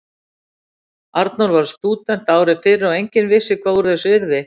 Arnór varð stúdent ári fyrr og enginn vissi hvað úr þessu yrði.